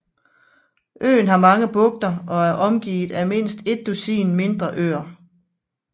Øen har mange bugter og er omgivet af mindst et dusin mindre øer